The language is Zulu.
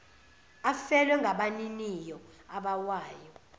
afelwe ngabaniniwo abawabayo